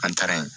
An taara yen